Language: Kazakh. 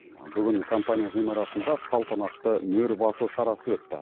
бүгін компания ғимаратында салтанатты мөр басу шарасы өтті